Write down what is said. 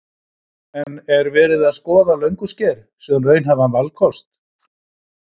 En er verið að skoða Löngusker sem raunhæfan valkost?